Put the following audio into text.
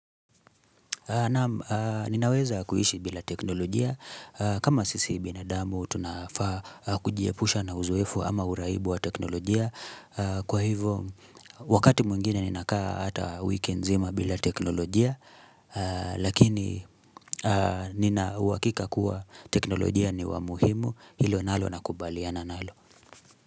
Naam, ninaweza kuishi bila teknolojia. Kama sisi binadamu, tunafaa kujiepusha na uzoefu ama uraibu wa teknolojia. Kwa hivyo, wakati mwingine ninakaa hata wiki nzima bila teknolojia. Lakini, nina uhakika kuwa teknolojia ni wa muhimu. Hilo nalo nakubaliana nalo.